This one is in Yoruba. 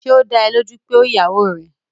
Ṣé ó dá ẹ lójú pé ó ìyàwó rẹ̀?